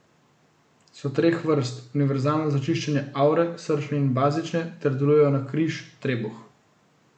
So treh vrst, univerzalna za čiščenje avre, srčne in bazične, te delujejo na križ, trebuh.